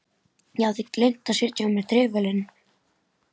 Ég hafði gleymt að setja á mig trefilinn.